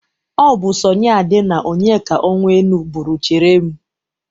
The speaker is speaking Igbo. Ọ bụ Sọni Ade na Onyeka Onwenu bụrụ 'chere m'.